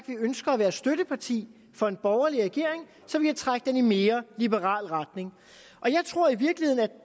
vi ønsker at være støtteparti for en borgerlig regering så vi kan trække den i en mere liberal retning jeg tror i virkeligheden at